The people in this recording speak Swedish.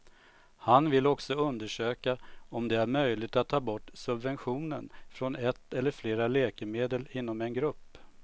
Han vill också undersöka om det är möjligt att ta bort subventionen från ett eller flera läkemedel inom en grupp.